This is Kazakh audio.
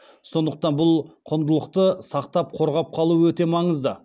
сондықтан бұл құндылықты сақтап қорғап қалу өте маңызды